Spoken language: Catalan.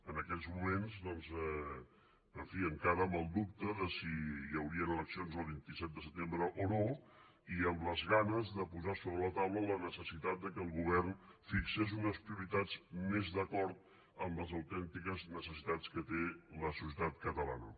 en aquells moments doncs en fi encara amb el dubte de si hi haurien eleccions el vint set de setembre o no i amb les ganes de posar sobre la taula la necessitat que el govern fixés unes prioritats més d’acord amb les autèntiques necessitats que té la societat catalana